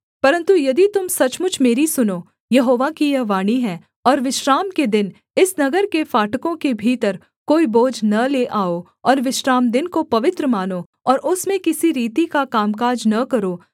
परन्तु यदि तुम सचमुच मेरी सुनो यहोवा की यह वाणी है और विश्राम के दिन इस नगर के फाटकों के भीतर कोई बोझ न ले आओ और विश्रामदिन को पवित्र मानो और उसमें किसी रीति का कामकाज न करो